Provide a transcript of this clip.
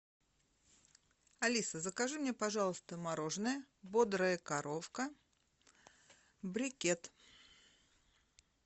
алиса закажи мне пожалуйста мороженое бодрая коровка брикет